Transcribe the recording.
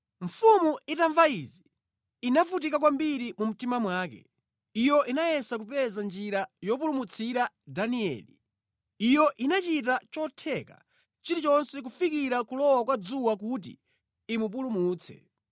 Mfumu itamva izi, inavutika kwambiri mu mtima mwake. Iyo inayesa kupeza njira yopulumutsira Danieli. Iyo inachita chotheka chilichonse kufikira kulowa kwa dzuwa kuti imupulumutse.